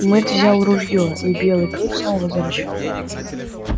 мэтт взял ружьё и белый клык снова зарычал